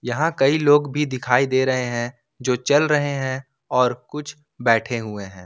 हां कई लोग भी दिखाई दे रहे हैं जो चल रहे हैं और कुछ बैठे हुए हैं।